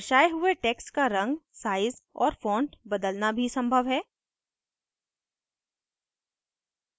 दर्शाये हुए text का रंग size और font बदलना भी संभव है